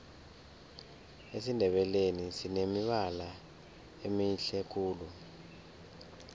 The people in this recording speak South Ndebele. esindebeleni sinemibala emihle khulu